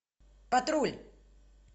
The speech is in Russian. патруль